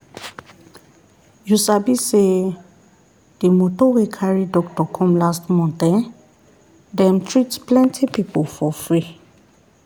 you sabi say the moto wey carry doctor come last month[um]dem treat plenty people for free.